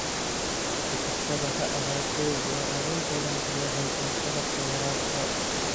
Si kastaba ha ahaatee, beeraley badan ayaan haysan qalabka waraabka.